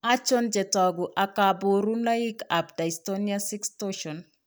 Achon chetogu ak kaborunoik ab Dystonia 6 torsion?